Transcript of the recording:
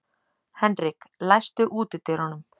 Henrik, læstu útidyrunum.